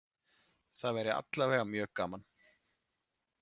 Það væri alla vega mjög gaman